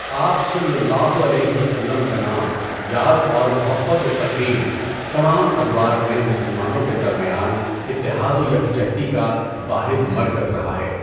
آپ صلی اللہ علیہ وسلم کا نام یاد اور محبت و تکریم، تمام ادوار میں مسلمانوں کے درمیان اتحاد و یکجہتی کا واحد مرکز رہا ہے۔